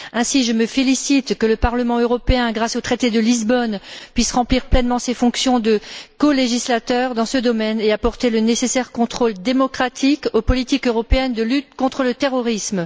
Ainsi, je me félicite que le Parlement européen, grâce au traité de Lisbonne, puisse remplir pleinement ses fonctions de colégislateur dans ce domaine et apporter le nécessaire contrôle démocratique aux politiques européennes de lutte contre le terrorisme.